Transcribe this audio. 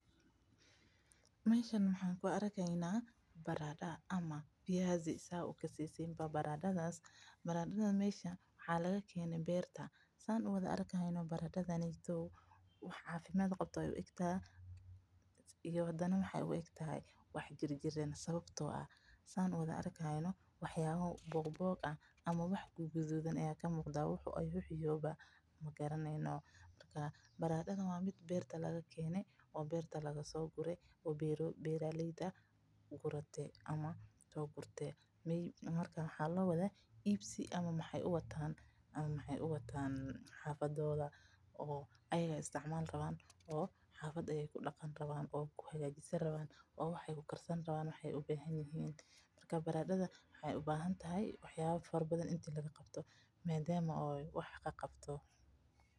Meeshan waxan kuarkeyna barado ama fiyazi sida ad ukasesin baradadha waxa lagakene berta Sudan wada arkayno baradadhan wax cafimad qawo ayey uegtahay oo hdana wexey egtahay wax Kiran sawabto ah San wads arkayo waxyabo bogbog ah ama wax gududan aya kamuqda wuxu yoho magaraneyno marka baradadhan wa mid Berta lagakene oo lagasogure oo beraleyda gurate ama sogurta marka waxa lowada ibsi ama ayaga aya xafadoda uwato oo isticmali rawo oo xafada ayey kudaqani rawan oo wax kukarsani rawan marka wexey ubahantahay waxyabo fsra badan in lagaqabto madama wax qaqabto.